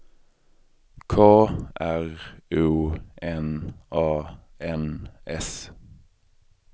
K R O N A N S